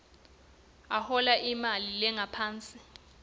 uhola imali lengaphansi